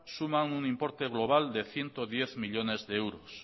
suman un importe global de ciento diez millónes de euros